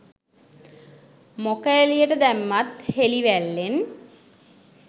මොක එලියට දැම්මත් හෙලිවැල්ලෙන්